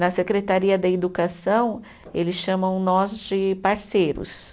Na Secretaria da Educação, eles chamam nós de parceiros.